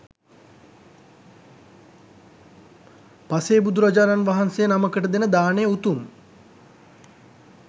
පසේ බුදුරජාණන් වහන්සේ නමකට දෙන දානය උතුම්.